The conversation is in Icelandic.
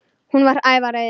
Hún var æf af reiði.